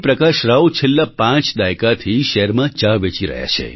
પ્રકાશ રાવ છેલ્લા પાંચ દાયકાથી શહેરમાં ચા વેચી રહ્યા છે